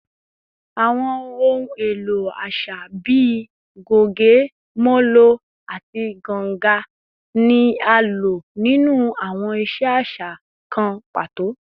Awọn ohun elo aṣa bii goge, molo, ati ganga ni a lo ninu awọn iṣe aṣa aṣa kan pato